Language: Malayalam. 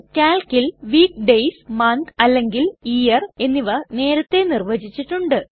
കാൽക്കിൽ വീക്ക് ഡേയ്സ് മന്ത് അല്ലെങ്കിൽ ഇയർ എന്നിവ നേരത്തേ നിർവചിച്ചിട്ടുണ്ട്